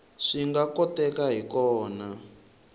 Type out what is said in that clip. swi nga kotekaka hi kona